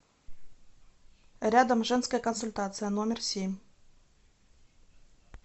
рядом женская консультация номер семь